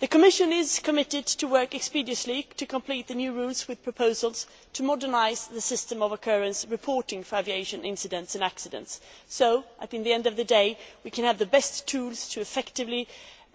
The Commission is committed to working expeditiously to complete the new rules with proposals to modernise the system of occurrence reporting for aviation incidents and accidents so that, at the end of the day, we can have the best tools effectively